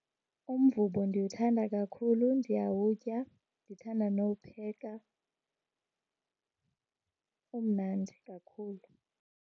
Umvubo ndiwuthanda kakhulu, ndiyawutya. Ndithanda nowupheka. Umnandi kakhulu.